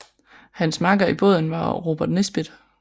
Hans makker i båden var Robert Nisbet